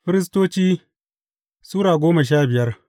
Firistoci Sura goma sha biyar